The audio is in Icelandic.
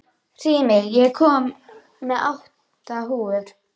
Hrímnir, ég kom með átta húfur!